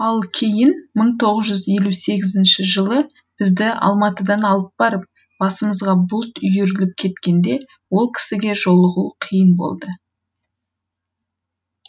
ал кейін мың тоғыз жүз елу сегізінші жылы бізді алматыдан алып барып басымызға бұлт үйіріліп кеткенде ол кісіге жолығу қиын болды